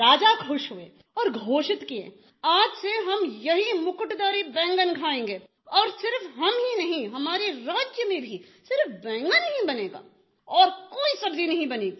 राजा खुश हुए और घोषित किये आज से हम यही मुकुटधारी बैंगन खाएंगे और सिर्फ हम ही नहीं हमारे राज्य में भी सिर्फ बैंगन ही बनेगा और कोई सब्ज़ी नहीं बनेगी